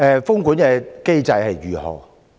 封館機制為何？